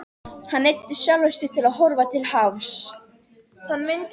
Hann neyddi sjálfan sig til að horfa til hafs.